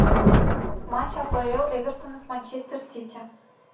матч апл эвертона с манчестер сити